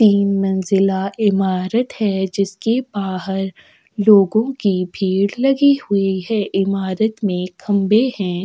तीन मंजिला इमारत है जिस के बहार लोगो की भीड़ लगी हुई है इमारत में खम्बे है।